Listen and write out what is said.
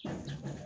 Sanunɛgɛnin